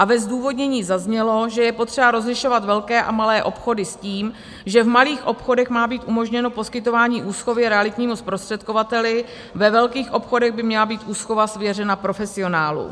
A ve zdůvodnění zaznělo, že je potřeba rozlišovat velké a malé obchody s tím, že v malých obchodech má být umožněno poskytování úschovy realitnímu zprostředkovateli, ve velkých obchodech by měla být úschova svěřena profesionálům.